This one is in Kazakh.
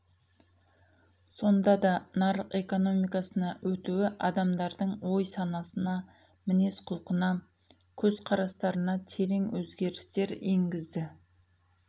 сонда да нарық экономиясына өтуі адамдардың ой-санасына мінез құлқына көзқарастарына терең өзгерістер енгізді